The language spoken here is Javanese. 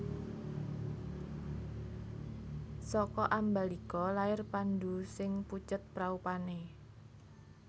Saka Ambalika lair Pandhu sing pucet praupané